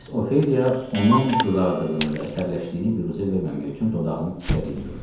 Miss Ofeliya onun qızardığını və əsəbləşdiyini büruzə verməmək üçün dodağını dişlədiyini gördü.